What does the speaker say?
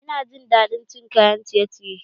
Ina jin daɗin cin kayan ciye ciye